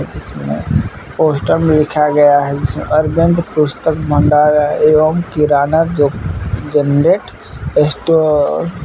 जिसमें पोस्टर में लिखा गया है जिसमें अरविंद पुस्तक भंडार एवं किराना दो जेनरेट स्टोर